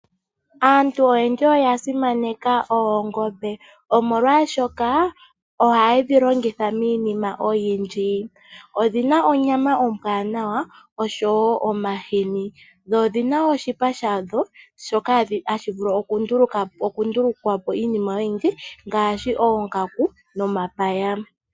Aantu oyendji oya simaneka oongombe molwaashoka ohaye dhi longitha miinima oyindji odhina onyama ombwanawa osho woo omashini dho odhina oshipa shadho shoka hashi vulu okundulukapo iinima oyindji ngaashi oongaku nomapaya.